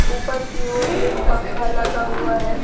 ऊपर की ओर एक पंखा लगा हुआ है।